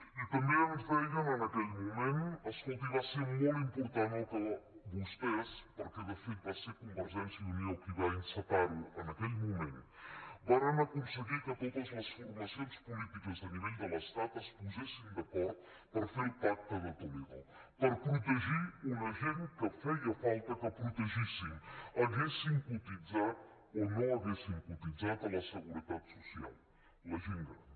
i també ens deien en aquell moment escolti va ser molt important que vostès perquè de fet va ser convergència i unió qui va encetar ho en aquell moment varen aconseguir que totes les formacions polítiques a nivell de l’estat es posessin d’acord per fer el pacte de toledo per protegir una gent que feia falta que protegíssim haguessin cotitzat o no haguessin cotitzat a la seguretat social la gent gran